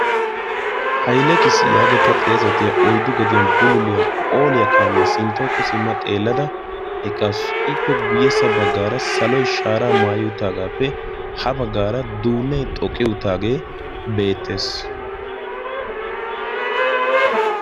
Hailekiis yaagetta xeesetiya oyddu gediyan bululiyaa phooliyaa qaamiyaa sinttooko simma xeellada eqassu ippe guyyessa baggaara saloy shaaraa maayuuttaagaappe ha baggaara duunnee xoqqiyuutaagee beettees.